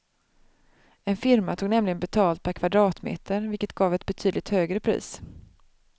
En firma tog nämligen betalt per kvadratmeter, vilket gav ett betydligt högre pris.